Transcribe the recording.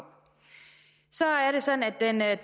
så er det sådan at